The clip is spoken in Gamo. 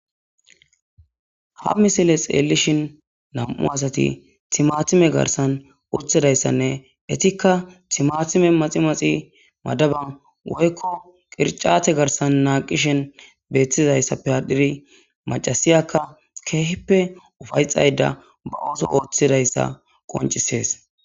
ha misile xeellishin nam7u asati timatime garsan urthidayssanne etikka timatime maximaxi madaban woykko qircate garsan naaqishen beethtizayssappe ha diri macasiyakka keehippe ufayxayda ba ooso ooththidayssa qoncisees